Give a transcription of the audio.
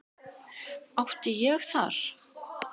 Átti ég þar